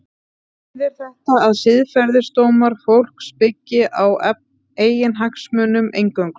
Þýðir þetta að siðferðisdómar fólks byggi á eiginhagsmunum eingöngu?